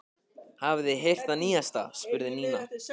Hafið þið heyrt það nýjasta? spurði Nína.